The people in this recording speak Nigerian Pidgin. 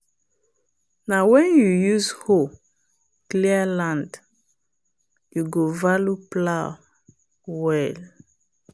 na when you use hoe clear land you go value plow well.